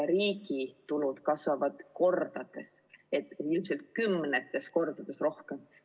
Riigi tulud nimelt kasvavad kordades, ilmselt kümnetes kordades rohkem.